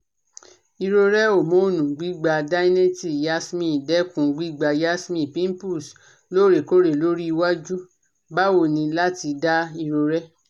Irore homonu Gbigba dineette Yasmin dekun gbigba Yasmin Pimples loorekoore lori iwaju bawo ni lati da irore